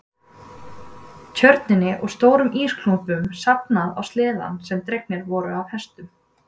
Tjörninni og stórum ísklumpunum staflað á sleðana sem dregnir voru af hestum.